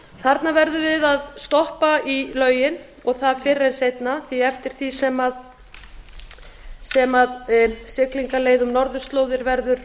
þarna verðum við að stoppa í lögin og það fyrr en seinna því eftir því sem siglingaleið um norðurslóðir verður